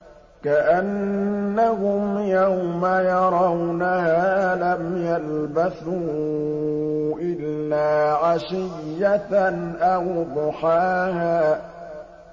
كَأَنَّهُمْ يَوْمَ يَرَوْنَهَا لَمْ يَلْبَثُوا إِلَّا عَشِيَّةً أَوْ ضُحَاهَا